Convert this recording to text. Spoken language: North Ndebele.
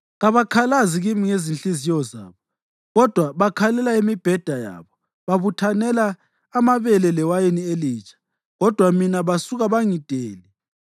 Kabakhalazi kimi ngezinhliziyo zabo kodwa bakhalela emibhedeni yabo. Babuthanela amabele lewayini elitsha kodwa mina basuka bangidele.